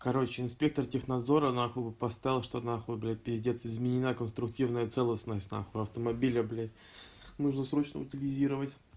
короче инспектор технадзора нахуй поставил что на хуй блядь пиздец изменения конструктивной целостности нахуй автомобиля блять нужно срочно утилизировать